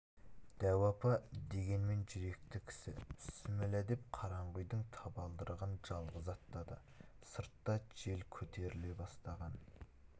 дәу апа дегенмен жүректі кісі бісміллә деп қараңғы үйдің табалдырығын жалғыз аттады сыртта жел көтеріле бастаған